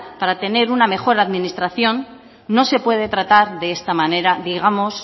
para tener una mejor administración no se puede tratar de esta manera digamos